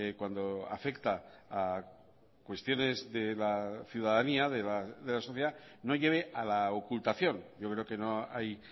cuando afecta a cuestiones de la ciudadanía de la sociedad no lleve a la ocultación yo creo que no hay